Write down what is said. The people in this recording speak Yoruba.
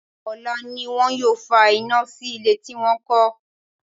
Ọ̀la ni wọn yóò fa iná sí ilé tí wọ́n kọ́.